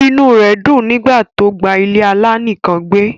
Inú rè dun nígbà tó gba ilé-alá nìkàn gbé